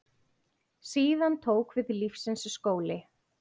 Síðan tók við lífsins skóli.